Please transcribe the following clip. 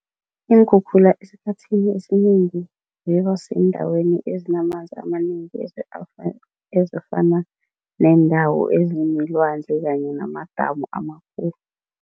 Iinkhukhula esikhathini esinengi zibasendaweni ezinamanzi amanengi ezifana neendawo ezinelwandle kanye namadamu amakhulu.